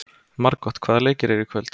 Margot, hvaða leikir eru í kvöld?